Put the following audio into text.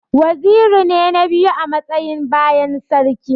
Waziri ne na biyu a matsayi bayan sarki.